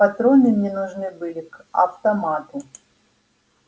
патроны мне нужны были к автомату